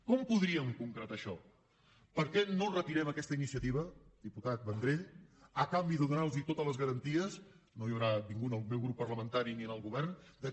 com podríem concretar això per què no retirem aquesta iniciativa diputat vendrell a canvi de donarlos totes les garanties no hi haurà ningú en el meu grup parlamentari ni en el govern que